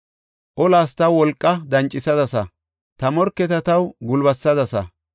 Olas taw wolqa dancisadasa; ta morketa taw gulbatisadasa.